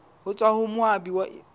ho tswa ho moabi ya